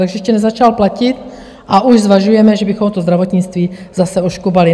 Takže ještě nezačalo platit, a už zvažujeme, že bychom to zdravotnictví zase oškubali.